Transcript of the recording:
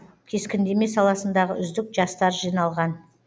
кескіндеме саласындағы үздік жастар жиналған